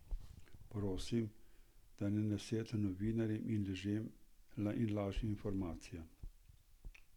Prosim, da ne nasedate novinarjem in lažnim informacijam.